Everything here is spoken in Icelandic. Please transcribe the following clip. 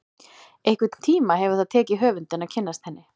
Einhvern tíma hefur það tekið höfundinn að kynnast henni.